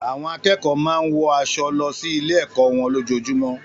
Àwọn akẹ́kọ̀ọ́ máa ń wọ aṣọ lọ sí ilé-ẹ̀kọ́ wọn lójoojúmọ́.